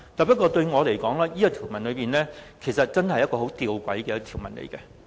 不過，對我來說，這真是一項很弔詭的條文。